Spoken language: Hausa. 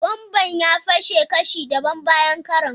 Bomban ya fashe kashi dabam bayan karon.